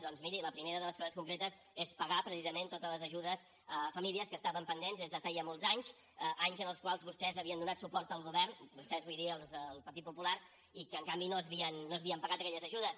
doncs miri la primera de les coses concretes és pagar precisament totes les ajudes a famílies que estaven pendents des de feia molts anys anys en els quals vostès havien donat suport al govern vostès vull dir els del partit popular i que en canvi no s’havien pagat aquelles ajudes